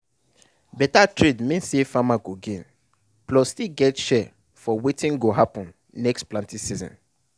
better trade mean say farmer go gain plus still get share for wetin go happen next planting season.